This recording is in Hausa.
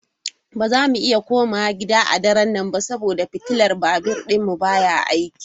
Ba za mu iya komawa gida a daren ba saboda fitilar babur ɗinmu baya aiki.